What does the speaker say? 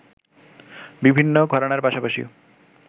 বিভিন্ন ঘরানার পাশাপাশি